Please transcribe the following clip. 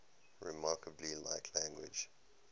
remarkably like language